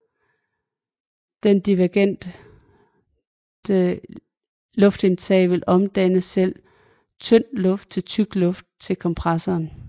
Det divergente luftindtag vil omdanne selv tynd luft til tyk luft til kompressoren